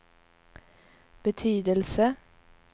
betydelse